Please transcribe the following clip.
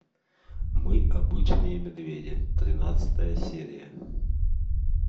мы обычные медведи тринадцатая серия